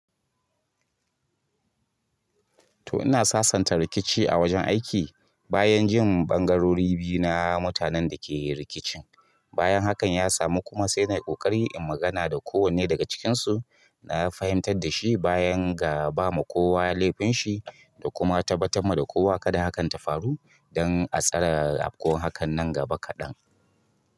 To ina sasanta rikici a wajen aiki bayan jin ɓangarori biyu na mutanen da ke rikicin. Bayan haka ya samu kuma sai nai ƙoƙari in magana da kowanne daga cikinsu na fahimtar da shi bayan ga ba ma kowa laifin shi da kuma tabbatamma da kowa kada haka ta faru dan a tsara afkowan hakan nan gaba kaɗan.